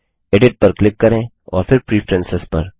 edit पर click करें और फिर प्रेफरेंस पर